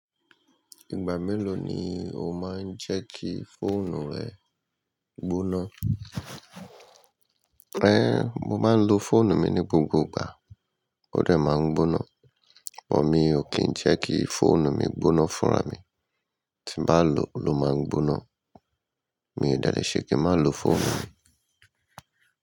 Ìgbà mélòó ni o máa ń jẹ́ kí fóònù rẹ gbóná? Ẹ́, mo máa ń lo fóònù mi ní gbogbo ìgbà, ó dẹ̀ máa ń gbóná. Ó Ọ̀ mi ò kí ń jẹ́ kí fóònù mi gbóná fúnra mi. Tí n bá lò ó ló máa ń gbóná. Mi ò dèlè ṣe kí ń máa lo fóònù mi.